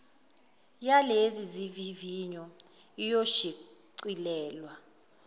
yalezi zivivinyo iyoshicilelwa